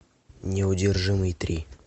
неудержимый три